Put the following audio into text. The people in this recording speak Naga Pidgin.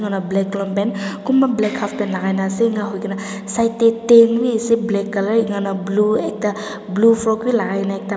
Black long pant kunba black half pant lagai na ase eninka hoi kina side te tent bhi ase black colour eninka na blue blue frocks bhi lagai ni na ekta.